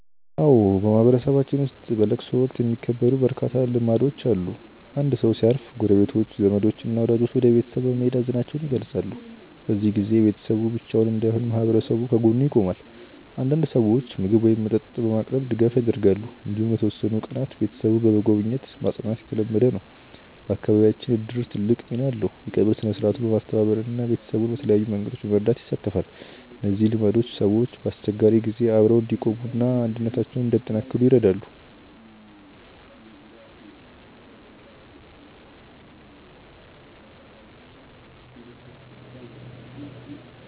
አዎ፣ በማህበረሰባችን ውስጥ በለቅሶ ወቅት የሚከበሩ በርካታ ልማዶች አሉ። አንድ ሰው ሲያርፍ ጎረቤቶች፣ ዘመዶች እና ወዳጆች ወደ ቤተሰቡ በመሄድ ሀዘናቸውን ይገልጻሉ። በዚህ ጊዜ ቤተሰቡ ብቻውን እንዳይሆን ማህበረሰቡ ከጎኑ ይቆማል። አንዳንድ ሰዎች ምግብ ወይም መጠጥ በማቅረብ ድጋፍ ያደርጋሉ። እንዲሁም ለተወሰኑ ቀናት ቤተሰቡን በመጎብኘት ማጽናናት የተለመደ ነው። በአካባቢያችን እድርም ትልቅ ሚና አለው፤ የቀብር ሥነ-ሥርዓቱን በማስተባበር እና ቤተሰቡን በተለያዩ መንገዶች በመርዳት ይሳተፋል። እነዚህ ልማዶች ሰዎች በአስቸጋሪ ጊዜ አብረው እንዲቆሙ እና አንድነታቸውን እንዲያጠናክሩ ይረዳሉ።